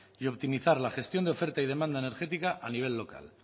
y optimizar la gestión de oferta y demanda energética a nivel local